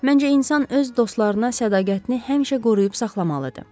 Məncə insan öz dostlarına sədaqətini həmişə qoruyub saxlamalıdır.